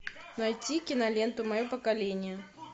найти киноленту мое поколение